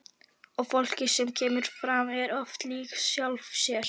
Og fólkið sem kemur fram er oft líkt sjálfu sér.